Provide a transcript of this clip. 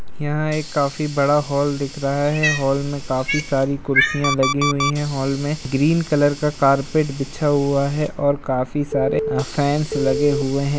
यहाँ एक काफी बड़ा हॉल दिख रहा हैं हॉल में काफी सारी कुर्सियां लगी हुई हैं हॉल में ग्रीन कलर का कारपेट बिछा हुआ है और काफी सारे अ फैन्स लगे हुए हैं।